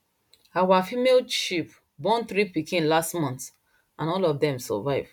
our female sheep born three pikin last month and all of dem survive